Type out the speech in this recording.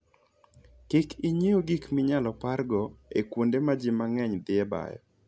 Kik ing'iew gik minyalo pargo e kuonde ma ji mang'eny dhiye bayo.